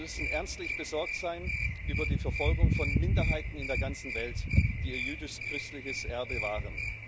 Und wir müssen ernstlich besorgt sein über die Verfolgung von Minderheiten in der ganzen Welt, die ihr jüdisch christliches Erbe wahren.